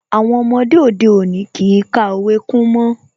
Àwọn ọmọdé òde òní kìí ka òwe kún mọ́